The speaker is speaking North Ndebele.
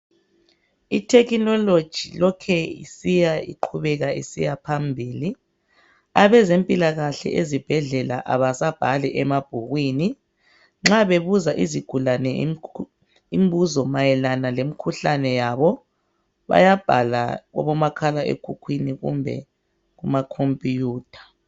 Ithekhinoloji lokuthe isiya iqhubeka isiya phambili. Abezempilakahle ezibhedlela abasabhali emabhukwini, nxa bebuza izigulane mayelana lomkhuhlane yabe bayabhala kubomakhalekhukhwini kumbe kuma computer.